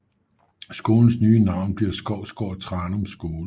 Skolens nye navn blev Skovsgård Tranum Skole